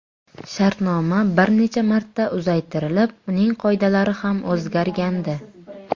Shartnoma bir necha marta uzaytirilib, uning qoidalari ham o‘zgargandi.